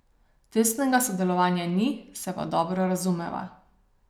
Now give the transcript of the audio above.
Tesnega sodelovanja ni, se pa dobro razumeva.